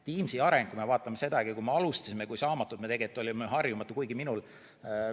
Kui me vaatame sedagi, kui me alustasime, kui saamatud me tegelikult olime, kui harjumatu.